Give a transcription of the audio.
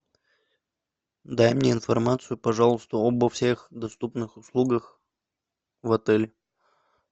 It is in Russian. дай мне информацию пожалуйста обо всех доступных услугах в отеле